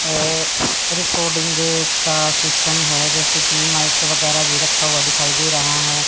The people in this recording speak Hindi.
रिकॉर्डिंग का सिस्टम है जैसे कि माइक वगैरह भी रखा हुआ दिखाई दे रहा है।